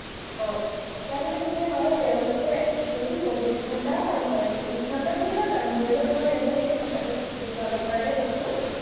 অ, তাৰমানে কি হয়, তেওঁলোকে যদি চৌবিশ ঘণ্টাও কাম কৰে, চৌবিশ ঘণ্টা যেনিবা কাম কৰিব নোৱাৰে, মই এনেই কথাটো বুজাবৰ কাৰণে কৈছো।